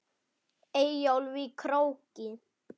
Eyjólf í Króki.